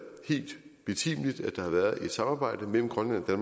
helt betimeligt at der har været et samarbejde mellem grønland og